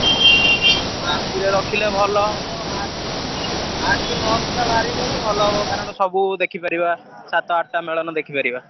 ତ ରାତିରେ ରଖିଲେ ଭଲ ହବ ଆସ ଆଠ କି ନଅ ସୁଦ୍ଧାବାହାରିଗଲେ ଭଲ ହବ କାରଣ ସବୁ ଦେଖି ପାରିବା ସାତ ଆଠ ଟା ମେଳଣ ଦେଖିପାରିବା।